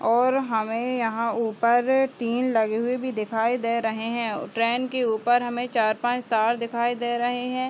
और हमें यहाँ ऊपर टिन लगे हुए भी दिखाई दे रहें हैं। ट्रेन के ऊपर हमें चार पांच तार दिखाई दे रहे हैं।